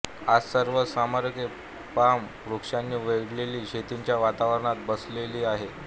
आज सर्व स्मारके पाम वृक्षांनी वेढलेल्या शेतीच्या वातावरणात बसविली आहेत